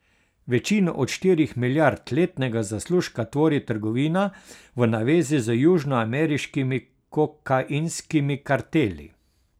Večino od štirih milijard letnega zaslužka tvori trgovina v navezi z južnoameriškimi kokainskimi karteli.